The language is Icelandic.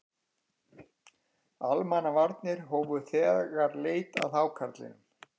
Almannavarnir hófu þegar leit að hákarlinum